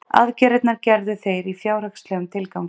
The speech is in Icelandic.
Aðgerðirnar gerðu þeir í fjárhagslegum tilgangi